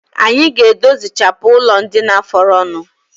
Anyi ga-edozichapụ ụlọndina fọrọnụ